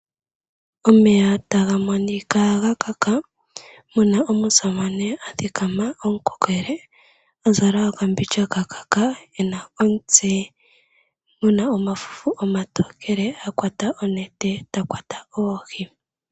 Omeya taga monika ga kaka, muna omusamane a thikama omukokele a zala okambindja ka kaka , e na omutse mu na omafufu omatokele, a kwata onete ta kwata oohi.